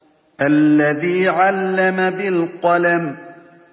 الَّذِي عَلَّمَ بِالْقَلَمِ